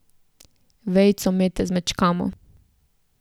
Vejico mete zmečkamo.